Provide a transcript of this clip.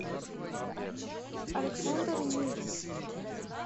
александр нюрин